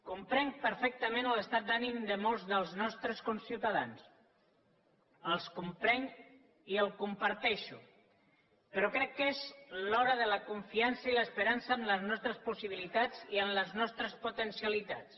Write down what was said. comprenc perfectament l’estat d’ànim de molts dels nostres conciutadans el comprenc i el comparteixo però crec que és l’hora de la confiança i l’esperança en les nostres possibilitats i en les nostres potencialitats